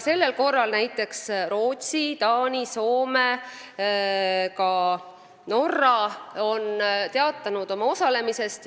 Sellel korral on Rootsi, Taani, Soome ja ka Norra juba teatanud oma osalemisest.